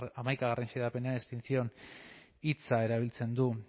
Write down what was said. hamaikagarrena xedapenean extinción hitza erabiltzen du